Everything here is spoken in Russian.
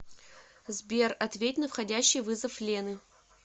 сбер ответь на входящий вызов лены